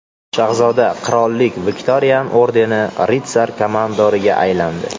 Shahzoda Qirollik Viktorian ordeni ritsar-komandoriga aylandi.